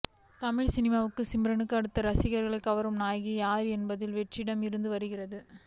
தமிழ் சினிமாவில் சிம்ரனுக்கு அடுத்து ரசிகர்களைக் கவரும் நாயகி யார் என்பதில் ஒரு வெற்றிடமே இருந்து வருகிறது